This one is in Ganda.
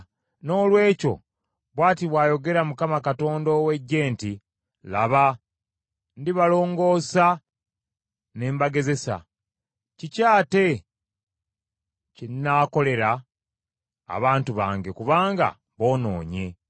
Noolwekyo bw’ati bw’ayogera Mukama Katonda ow’Eggye nti, “Laba, ndibalongoosa ne mbagezesa, kiki ate kye nnaakolera abantu bange kubanga boonoonye?